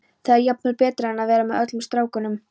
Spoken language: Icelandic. Þetta var jafnvel betra en að vera með öllum strákunum.